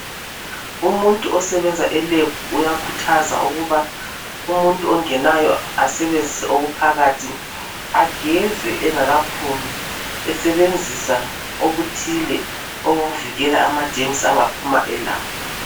Umuntu osebenza elab uyakhuthaza ukuba umuntu ongenayo asebenzise okuphakathi ageze engakaphumi esebenzisa okuthile okumvikela amagerms angaphuma elawo